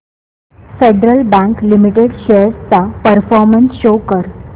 federal Bank Limited shares चा performance show कर